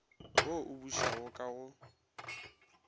wo o bušago ka go